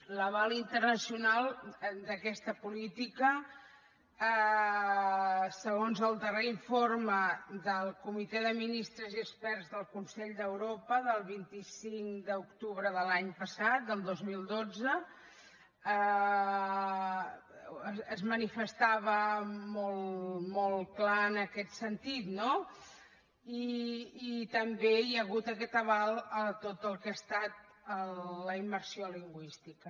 l’aval internacional d’aquesta política segons el darrer informe del comitè de ministres i experts del consell d’europa del vint cinc d’octubre de l’any passat del dos mil dotze es manifestava molt clar en aquest sentit no i també hi ha hagut aquest aval a tot el que ha estat la immersió lingüística